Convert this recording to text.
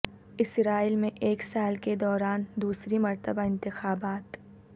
اسرائیل میں ایک سال کے دوران دوسری مرتبہ انتخابات